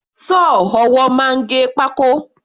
Sọ́ọ̀ ọwọ́ máa ń gé pákó.